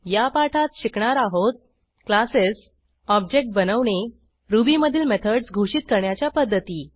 या पाठात शिकणार आहोत क्लासेस ऑब्जेक्ट बनवणे रुबी मधील मेथडस घोषित करण्याच्या पध्दती